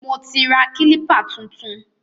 Mo ti ra kílípà tuntun.